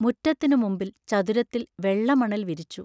മുറ്റത്തിനു മുമ്പിൽ ചതുരത്തിൽ വെള്ളമണൽ വിരിച്ചു.